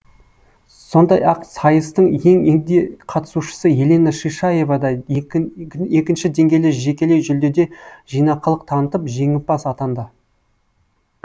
сондай ақ сайыстың ең егде қатысушысы елена шишаева да екінші деңгейлі жекелей жүлдеде жинақылық танытып жеңімпаз атанды